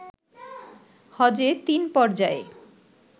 হজে তিন পর্যায়ে